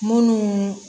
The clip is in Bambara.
Munnu